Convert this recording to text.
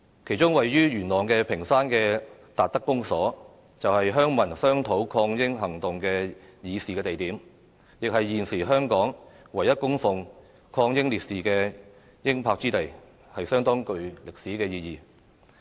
其中位於元朗屏山的達德公所，便是鄉民商討抗英行動的議事地點，亦是現時香港唯一供奉抗英烈士英魂之地，相當具歷史意義。